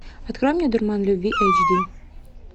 открой мне дурман любви эйч ди